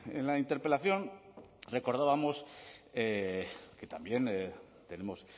en la interpelación recordábamos que también tenemos